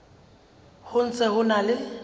ho ntse ho na le